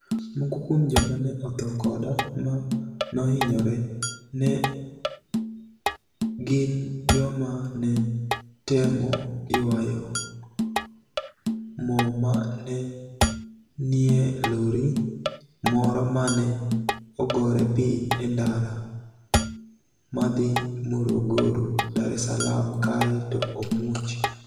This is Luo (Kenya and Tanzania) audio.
Moko kuom joma ni e otho koda ma nohiniyore ni e gini joma ni e temo ywayo mo ma ni e niie lori moro ma ni e ogore piniy e nidara madhi Morogoro - Dar es Saalaam kae to omuoch.